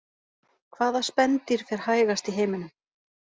Hvaða spendýr fer hægast í heiminum?